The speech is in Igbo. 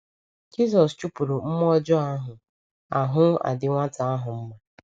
Jizọs chụpụrụ mmụọ ọjọọ ahụ, ahụ́ adị nwata ahụ mma.